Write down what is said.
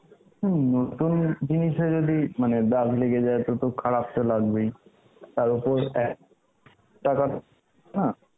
হম নতুন জিনিস এ যদি মানে দাগ লেগে যায় তো তো খারাপ তো লাগবেই, তার ওপর এক, টাকা না